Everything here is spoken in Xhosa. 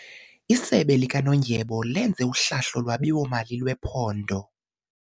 Isebe likanondyebo lenze uhlahlo lwabiwo-mali lwephondo.